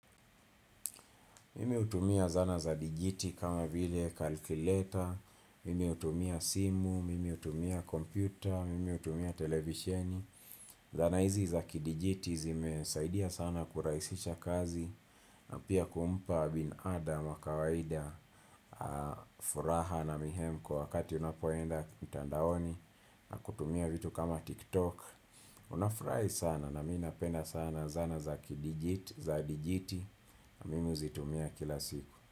Mimi hutumia zana za digiti kama vile kalkileta, mimi hutumia simu, mimi hutumia kompyuta, mimi hutumia televisieni. Zana hizi za kidijiti zime saidia sana kurahisisha kazi na pia kumpa binadamu wa kawaida furaha na mihemko wakati unapoenda mtandaoni na kutumia vitu kama tiktok. Unafurahi sana na minapenda sana zana za kidijiti na mimi huzitumia kila siku.